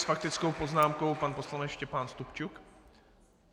S faktickou poznámkou pan poslanec Štěpán Stupčuk.